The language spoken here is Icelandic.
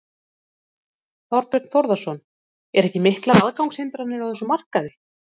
Þorbjörn Þórðarson: Eru ekki miklar aðgangshindranir á þessum markaði?